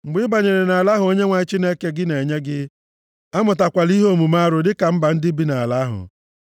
Mgbe ị banyere nʼala ahụ Onyenwe anyị Chineke gị na-enye gị, amụtakwala ime omume arụ dịka ndị mba bi nʼala ahụ.